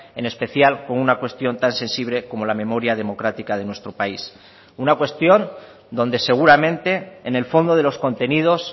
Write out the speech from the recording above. en especial con una cuestión tan sensible como la memoria democrática de nuestro país una cuestión donde seguramente en el fondo de los contenidos